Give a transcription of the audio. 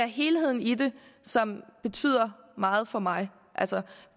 helheden i det som betyder meget for mig altså